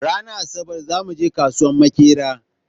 Ranan asabar zamu je kasuwan makera.